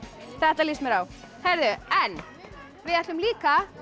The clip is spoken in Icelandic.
þetta líst mér á við ætlum líka